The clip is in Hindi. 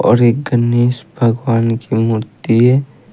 और ये गणेश भगवान की मूर्ति है।